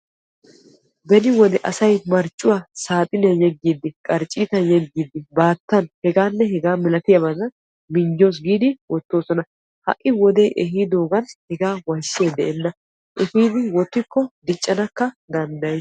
Beni wode asay marccuwa saaxiniyan yeggiddi qarccitta yeggiddi baattan hegan hegaa milatiyaban minjjos giidi wottosonna ha'i wode ehiidogan hegaa wayssiyay de'enna efiiddi wottikko diccanakka danddayees.